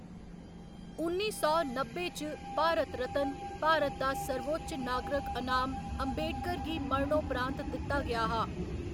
उन्नी सौ नब्बै च, भारत रत्न, भारत दा सर्वोच्च नागरक अनाम, अम्बेडकर गी मरणोपरांत दित्ता गेआ हा।